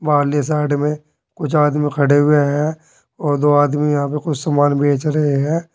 पहली साइड में कुछ आदमी खड़े हुए हैं और दो आदमी यहां पर कुछ सामान बेच रहे हैं।